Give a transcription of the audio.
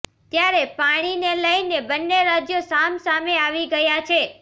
ત્યારે પાણીને લઈને બંને રાજ્યો સામસામે આવી ગયાં છે